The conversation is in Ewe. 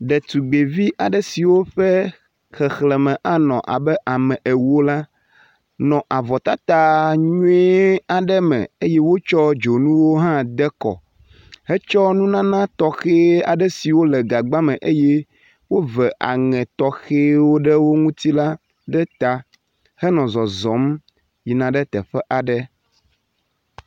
Ɖetugbvi aɖe siwo ƒe xexleme anɔ abe ame ewo la nɔ avɔtata nyui aɖe me eye wotsɔ dzonuwo hã de kɔ hetsɔ nunana tɔxe aɖe siwo le gagba le eye wove aŋe tɔxewo ɖe wo ŋutsi la ɖe ta henɔ zɔzɔm yina ɖe teƒe aɖe.